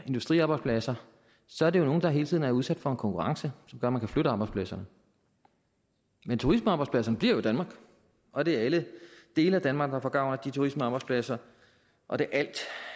industriarbejdspladser så er det nogle der hele tiden er udsat for en konkurrence som gør at man kan flytte arbejdspladserne men turismearbejdspladserne bliver jo i danmark og det er alle dele af danmark der får gavn af de turismearbejdspladser og det